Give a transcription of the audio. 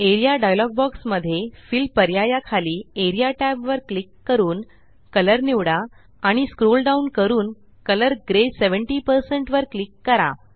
A R E A dialog box मध्ये fill पर्याया खाली एआरईए tab वर क्लिक करून कलर निवडा आणि स्क्रोल डाऊन करून कलर ग्रे 70 वर क्लिक करा